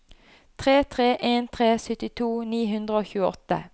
tre tre en tre syttito ni hundre og tjueåtte